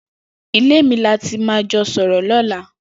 Ilé mi là mà ti jọ sọrọ lọ̀là